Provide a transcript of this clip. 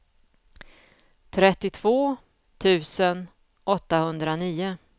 trettiotvå tusen åttahundranio